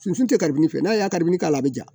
Fini tɛ garibu fɛn n'a ye gabiri k'a la a ja